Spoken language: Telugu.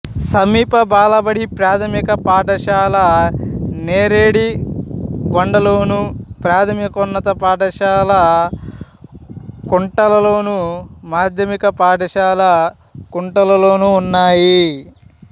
సమీప బాలబడి ప్రాథమిక పాఠశాల నేరడిగొండలోను ప్రాథమికోన్నత పాఠశాల కుంటాలలోను మాధ్యమిక పాఠశాల కుంటాలలోనూ ఉన్నాయి